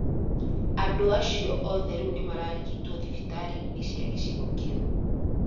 Andũ acio othe rĩu nĩ mararigitwo thibitarĩ-inĩ cia gĩcigo kĩu.